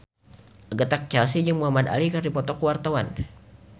Agatha Chelsea jeung Muhamad Ali keur dipoto ku wartawan